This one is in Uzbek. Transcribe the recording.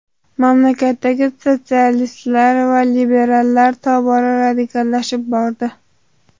Mamlakatdagi sotsialistlar va liberallar tobora radikallashib bordi.